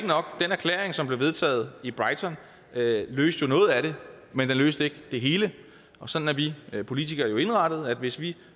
nok at den erklæring som blev vedtaget i brighton løste noget at det men den løste ikke det hele og sådan er vi politikere jo indrettet altså at hvis vi